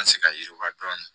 An se ka yiriwa dɔɔnin